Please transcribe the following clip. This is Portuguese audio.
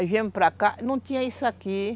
Aí viemos para cá, não tinha isso aqui.